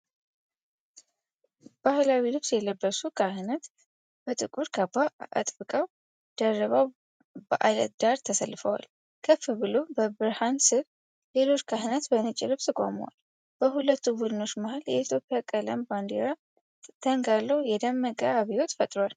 ባህላዊ ልብስ የለበሱ ካህናት በጥቁር ካባ አጥብቀው ደርበው በዐለት ዳር ተሰልፈዋል። ከፍ ብሎ በብርሃን ስር ሌሎች ካህናት በነጭ ልብስ ቆመዋል። በሁለቱ ቡድኖች መሀል የኢትዮጵያ ቀለማት ባንዲራ ተንጋሎ የደመቀ አብዮት ፈጥሯል።